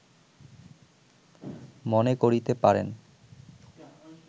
মনে করিতে পারেন